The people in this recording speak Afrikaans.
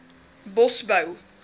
bosbou